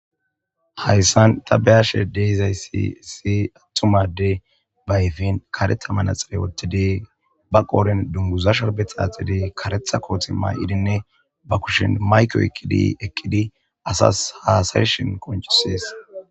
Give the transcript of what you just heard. hayssan ta be7ashe de7izayssi issi attuma adde ba ayfen karetha manaxire wottidiy ba qooren dunguza shorbe xaaxidi karetha kooti may7idinne ba kushin mayke oyiqqidi eqqidi asas haasayshin konchisees